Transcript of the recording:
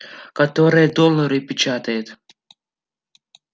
которая доллары печатает